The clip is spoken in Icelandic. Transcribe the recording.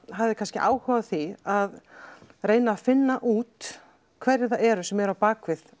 hafði kannski áhuga á því að reyna að finna út hverjir það eru sem eru á bak við